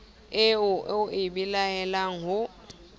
eo o e belaelang ho